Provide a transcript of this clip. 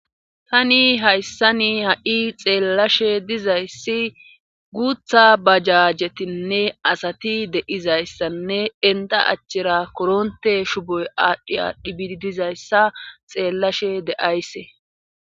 Tani hayssani ha'i xeellashe dizayssi guutha bajajetinne asati de'izayssanne enta achchira koronte shuboy aadhdhi adhibii dizayssa xeellashe de'aysse.